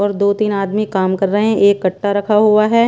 और दो तीन आदमी काम कर रहे हैं एक कट्टा रखा हुआ है।